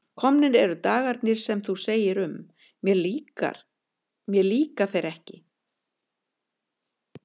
Komnir eru dagarnir sem þú segir um: mér líka þeir ekki.